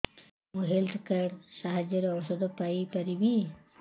ମୁଁ health card ସାହାଯ୍ୟରେ ଔଷଧ ପାଇ ପାରିବି